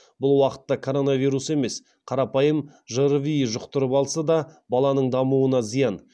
бұл уақытта коронавирус емес қарапайым жрви жұқтырып алса да баланың дамуына зиян